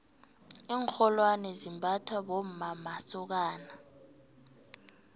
iinrholwane zimbathwa bommamasokana